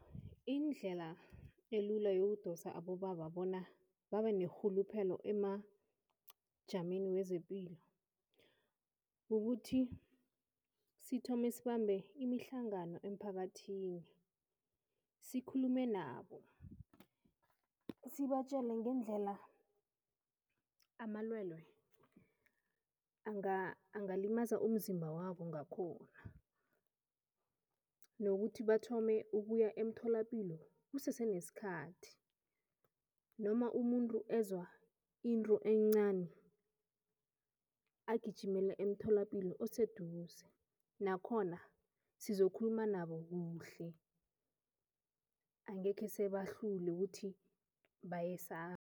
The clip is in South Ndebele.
Indlela elula yokudosa abobaba bona babe nerhuluphelo emajameni wezepilo ukuthi sithome sibambe imihlangano emphakathini, sikhulume nabo, sibatjele ngendlela amalwelwe angalimaza umzimba wabo ngakhona nokuthi bathome ukuya emtholapilo kusese nesikhathi noma umuntu ezwa into encani, agijimele emtholapilo oseduze nakhona sizokhuluma nabo kuhle, angekhe sebahlule ukuthi bayesaba.